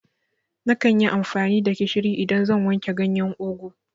Nakan yi amfani da gishiri idan zan wanke ganyen ugwu